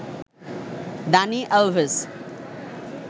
Dani Alves